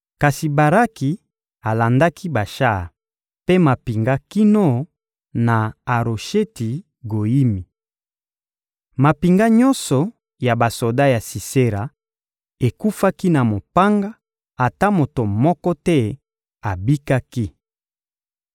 Kasi Baraki alandaki bashar mpe mampinga kino na Arosheti-Goyimi. Mampinga nyonso ya basoda ya Sisera ekufaki na mopanga, ata moto moko te abikaki.